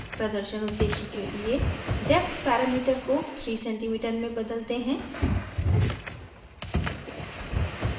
प्रदर्शन उद्देश्य के लिए depth parameter को 3cm में बदलते हैं